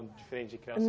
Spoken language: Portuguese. Diferente de criar